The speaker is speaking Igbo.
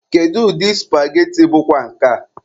Kedụ ụdị supageti bụkwa nke a?